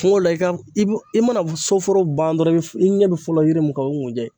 Kungo la, i ka i mana so foro ban dɔrɔn, i ɲɛ bɛ fɔlɔ yiri mun ka o ye kunjɛ ye.